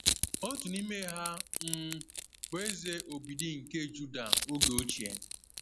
Otu n’ime ha um bụ Eze Obidi nke Juda oge ochie.